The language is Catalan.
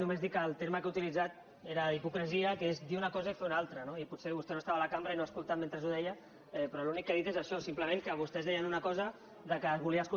només dir que el terme que ha utilitzat era hipocresia que és dir una cosa i fer ne una altra i potser no estava a la cambra i no ha escoltat mentre ho deia però l’únic que he dit és això simplement que vostès deien una cosa que es volia escoltar a les parts i que tenien preocupació perquè no